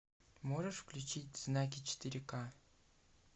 можешь включить знаки четыре ка